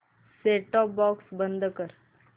set top box बंद कर